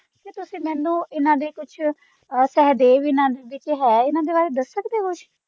ਤੇ ਤੁਸੀ ਮੈਨੂੰ ਇੰਨਾ ਦੇ ਕੁਛ ਸਹਿਦੇਵ ਇੰਨਾ ਦੇ ਵਿੱਚ ਹੈ ਇੰਨਾ ਦੇ ਬਾਰੇ ਦਸ ਸਕਦੇ ਹੋ ਕੁਛ।